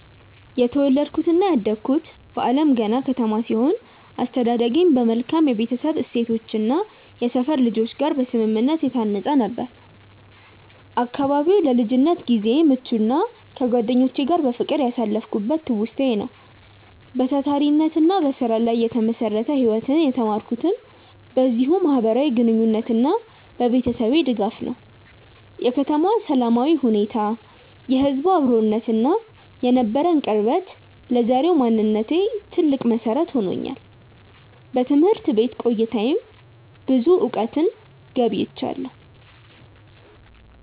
የተወለድኩትና ያደግኩት በአለምገና ከተማ ሲሆን፣ አስተዳደጌም በመልካም የቤተሰብ እሴቶችና ከሰፈር ልጆች ጋር በስምምነት የታነጸ ነበር። አካባቢው ለልጅነት ጊዜዬ ምቹና ከጓደኞቼ ጋር በፍቅር ያሳለፍኩበት ትውስታዬ ነው። በታታሪነትና በስራ ላይ የተመሰረተ ህይወትን የተማርኩትም በዚሁ ማህበራዊ ግንኙነትና በቤተሰቤ ድጋፍ ነው። የከተማዋ ሰላማዊ ሁኔታ፣ የህዝቡ አብሮነትና የነበረን ቅርበት ለዛሬው ማንነቴ ትልቅ መሰረት ሆኖኛል። በትምህርት ቤት ቆይታዬም ብዙ እውቀትን ገብይቻለሁ።